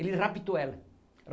Ele raptou ela.